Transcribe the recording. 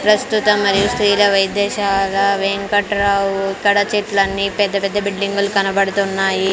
ప్రస్తుత మరియు స్రీల వైద్యశాల వెంకట్రావు ఇక్కడ చెట్లన్నీ పెద్ద పెద్ద బిల్డింగులు కనబడుతున్నాయి.